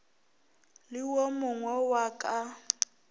le wo mogwe wa ka